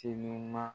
Te ɲuman